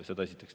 Seda esiteks.